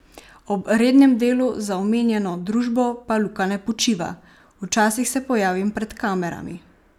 Ob "rednem" delu za omenjeno družbo pa Luka ne počiva: "Včasih se pojavim pred kamerami.